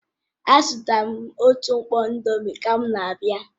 Azụtara m otu mkpọ indomie ka m na-abịa